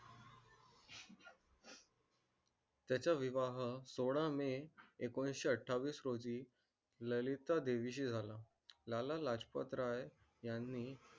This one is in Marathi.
त्याचा विवाह सोळा मे एकोणीसशे अठ्ठावीस रोजी ललिता देवीची झाला. लाला लाजपत राय यांनी